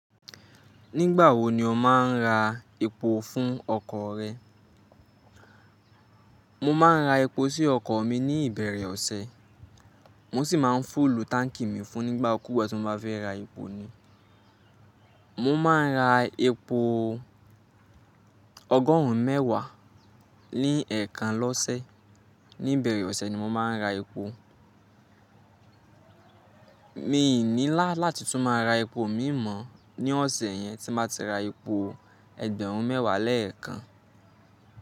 Nígbà wo ni o máa ń ra epo fún ọkọ̀ rẹ? Mo máa ń ra epo sí ọkọ̀ mi ní ìbẹ̀rẹ̀ ọ̀sẹ̀, mo sì máa ń fúlù táǹkì mi fún nígbà kúùgbà tí mo bá fẹ́ ra epo ni. Mo máa ń ra epo ọgọ́rùn ún mẹ́wàá ní ẹ̀ẹ̀kan lọ́sẹ̀. Ní ìbẹ̀rẹ̀ ọ̀sẹ̀ ni mo máa ń ra epo. Mi ò ní lá láti tún máa ra epo mí mọ́ ní ọ̀sẹ̀ yẹn tí mo bá ti ra epo ẹgbẹ̀rún mẹ́wàá lẹ́ẹ̀kan.